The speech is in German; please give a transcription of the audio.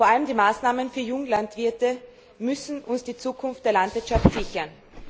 Vor allem die Maßnahmen für Junglandwirte müssen uns die Zukunft der Landwirtschaft sichern.